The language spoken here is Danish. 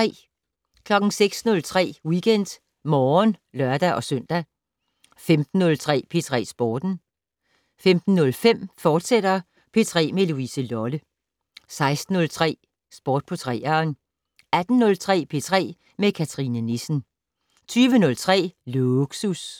06:03: WeekendMorgen (lør-søn) 15:03: P3 Sporten 15:05: P3 med Louise Lolle, fortsat 16:03: Sport på 3'eren 18:03: P3 med Cathrine Nissen 20:03: Lågsus